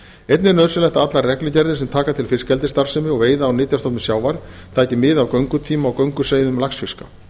einnig er nauðsynlegt að allar reglugerðir sem taka til fiskeldisstarfsemi og veiða á nytjastofnum sjávar taki mið af göngutíma og gönguleiðum laxfiska